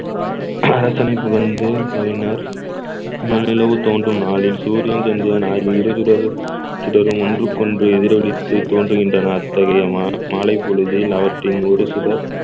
கூறினார் முழுநிலவு தோன்றும் நாளில் சூரியன் சந்திரன் ஆகிய இரு சுடர் சுடரும் ஒன்றுக்கொன்று எதிரொலித்து தோன்றுகின்றன அத்தகைய மா~ மாலைப்பொழுதில் அவற்றின் ஒரு சுடர்